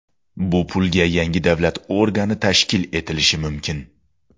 Bu pulga yangi davlat organi tashkil etilishi mumkin.